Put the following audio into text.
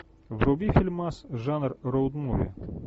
вруби фильмас жанр роуд муви